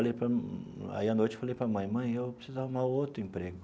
Falei para aí a noite eu falei para a mãe, mãe, eu preciso arrumar outro emprego.